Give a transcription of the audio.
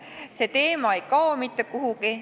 See teema ei kao mitte kuhugi.